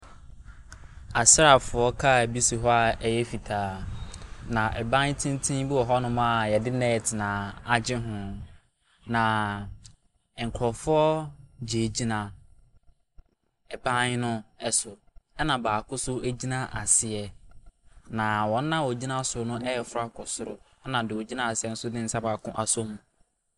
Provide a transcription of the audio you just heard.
Asraafoɔ kaa bi si hɔ a ɛyɛ fitaa, na ban tenten bi wɔ hɔnom a yɛde nɛɛte na agye ho. Na nkurɔfoɔ gyinagyina ban ne so, na baako so gyina aseɛ. Na wɔn a wɔgyina so ɛreforo akɔ soro na deɛ ogyina aseɛ nso de ne nsa baako asom.